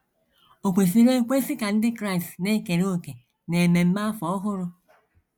Ò Kwesịrị Ekwesị Ka Ndị Kraịst Na - ekere Òkè n’Ememe Afọ Ọhụrụ?